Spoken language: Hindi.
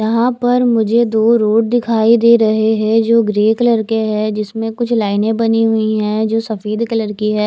यहाँ पर मुझे दो रोड दिखाई दे रहे है जो ग्रे कलर के है जिसमे कुछ लाइने बनी हुई है जो सफेद कलर की है ।